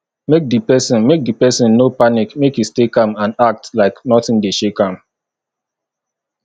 make di persin make di persin no panic make e stay calm and act like nothing de shake am